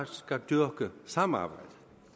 skal dyrke samarbejdet